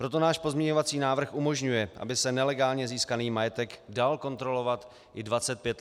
Proto náš pozměňovací návrh umožňuje, aby se nelegálně získaný majetek dal kontrolovat i 25 let zpětně.